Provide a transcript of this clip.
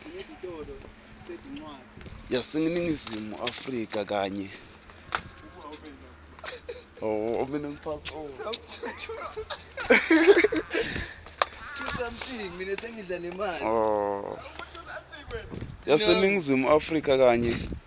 yaseningizimu afrika kanye